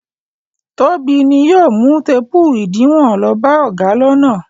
Tóbi ni yóò mú téépù ìdiwọn lọ bá ọ̀gá lọ́nà.